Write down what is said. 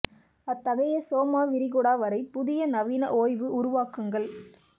அத்தகைய சோமா விரிகுடா வரை புதிய நவீன ஓய்வு உருவாக்குங்கள்